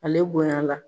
Ale bonya la